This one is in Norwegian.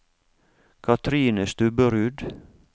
Kathrine Stubberud